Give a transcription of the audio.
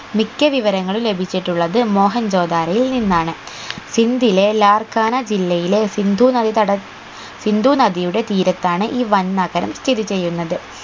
മിക്ക വിവരങ്ങളും ലഭിച്ചിട്ടുള്ളത് മോഹൻജൊ ദാരോയിൽ നിന്നാണ് ഹിന്ദിലെ ലാർക്കാനാ ജില്ലയിലെ സിന്ധു നദീതട സിന്ധു നദിയുടെ തീരത്താണ് ഈ വൻ നഗരം സ്ഥിതി ചെയ്യുന്നത്